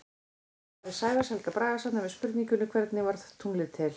Í svari Sævars Helga Bragasonar við spurningunni Hvernig varð tunglið til?